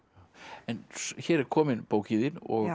en hér er komin bókin þín